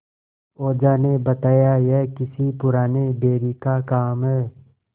ओझा ने बताया यह किसी पुराने बैरी का काम है